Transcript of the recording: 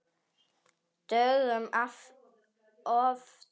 Dögum oftar.